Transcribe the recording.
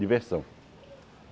Diversão.